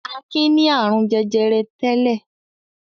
Akin ní àrùn jẹjẹrẹ tẹ́lẹ̀.